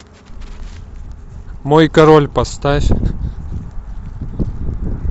мой король поставь